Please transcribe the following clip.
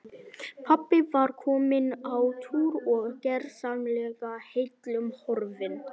Pabbi var kominn á túr og gersamlega heillum horfinn.